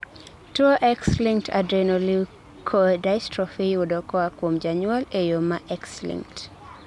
tuwo X-linked adrenoleukodystrophy iyudo koa kuom janyuol e yoo ma X-linked